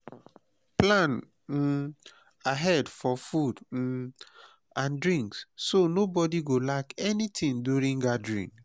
plan um ahead for food um and drinks so nobody go lack anything during gathering.